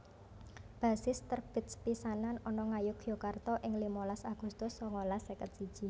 Basis terbit sepisanan ana Ngayogyakarta ing limalas Agustus sangalas seket siji